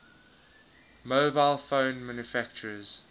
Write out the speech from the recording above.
mobile phone manufacturers